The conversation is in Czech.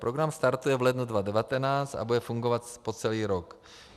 Program startuje v lednu 2019 a bude fungovat po celý rok.